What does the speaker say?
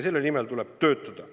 Selle nimel tuleb töötada.